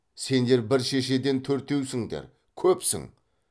сендер бір шешеден төртеусіңдер көпсің